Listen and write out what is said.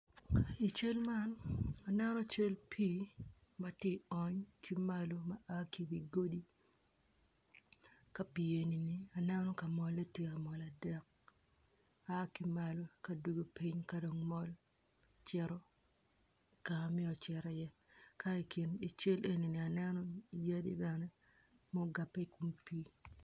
I cal man aneno cal pii ma ti ony ki malo ma a ki iwi godi ka pii enini aneno ka molle tye amol adek a ki malo ka dugo piny ka dong mol cito ka ma myero ocit iye k i kin cal enini aneno yadi bene mugabbe i kom pii.